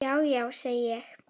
Já, já, segi ég.